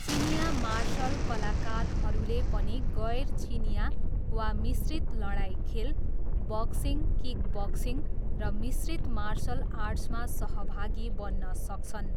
चिनियाँ मार्सल कलाकारहरूले पनि गैर चिनियाँ वा मिश्रित लडाइँ खेल, बक्सिङ, किकबक्सिङ र मिश्रित मार्सल आर्ट्समा सहभागी बन्न सक्छन्।